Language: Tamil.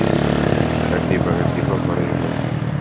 கண்டிப்பா, கண்டிப்பா கொறையனும்